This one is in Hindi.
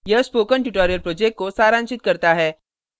यह spoken tutorial project को सारांशित करता है